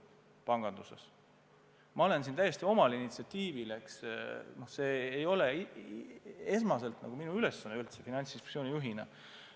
Ma olen üht-teist teinud täiesti omal initsiatiivil, see ei ole minu esmane ülesanne Finantsinspektsiooni juhina.